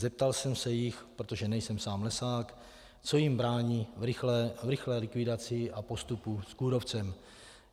Zeptal jsem se jich, protože nejsem sám lesák, co jim brání v rychlé likvidaci a postupu s kůrovcem.